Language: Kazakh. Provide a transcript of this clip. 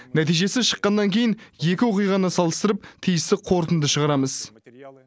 нәтижесі шыққаннан кейін екі оқиғаны салыстырып тиісті қорытынды шығарамыз